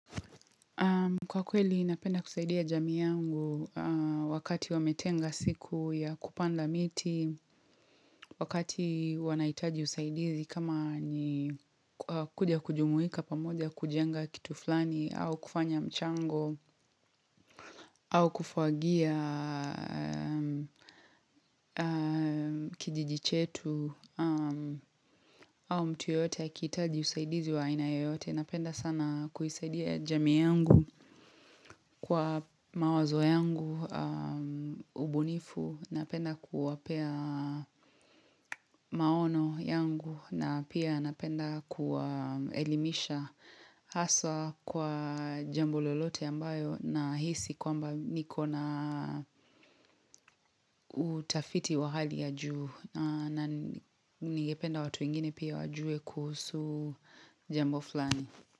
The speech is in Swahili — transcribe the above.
Kwa kweli, napenda kusaidia jamii yangu wakati wametenga siku ya kupanda miti, wakati wanahitaji usaidizi kama ni kuja kujumuika pamoja kujenga kitu fulani, au kufanya mchango, au kufagia kijiji chetu, au mtu yote ya akihitaji usaidizi wa aina yoyote. Napenda sana kuisaidia jamii yangu kwa mawazo yangu, ubunifu, napenda kuwapea maono yangu na pia napenda kuwaelimisha haswa kwa jambo lolote ambayo nahisi kwamba niko na utafiti wa hali ya juu na ningependa watu wengine pia wajue kuhusu jambo flani.